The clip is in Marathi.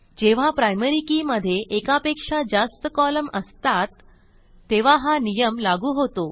जेव्हा प्रायमरी के मधे एकापेक्षा जास्त कॉलम असतात तेव्हा हा नियम लागू होतो